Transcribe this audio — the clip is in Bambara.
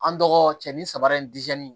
An dɔgɔ cɛ ni saba in